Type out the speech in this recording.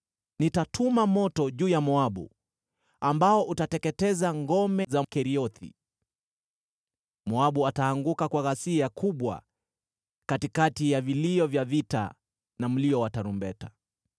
Nitatuma moto juu ya Moabu ambao utateketeza ngome za Keriothi. Moabu ataanguka kwa ghasia kubwa katikati ya vilio vya vita na mlio wa tarumbeta.